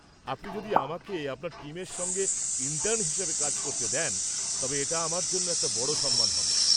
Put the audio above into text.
আপনি যদি আমাকে আপনার টিমের সঙ্গে ইন্টার্ন হিসেবে কাজ করতে দেন তবে এটা আমার জন্য একটা বড় সম্মান হবে।